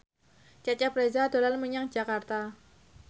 Cecep Reza dolan menyang Jakarta